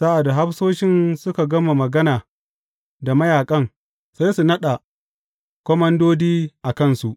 Sa’ad da hafsoshin suka gama magana da mayaƙan, sai su naɗa komandodi a kansu.